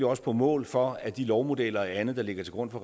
også på mål for at de lovmodeller og andet der ligger til grund for